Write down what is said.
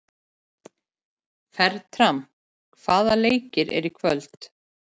Fertram, hvaða leikir eru í kvöld?